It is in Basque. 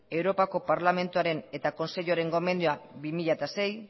europako parlamentuaren eta kontseiluaren gomendioa bi mila sei